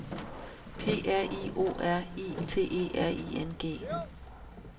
P R I O R I T E R I N G